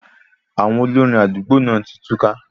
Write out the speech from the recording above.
Àwọn olórin àdúgbò náà tí túká